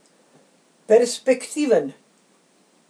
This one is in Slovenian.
Perspektiven.